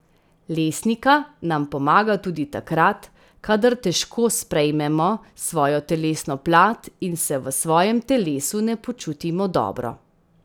Lesnika nam pomaga tudi takrat, kadar težko sprejmemo svojo telesno plat in se v svojem telesu ne počutimo dobro.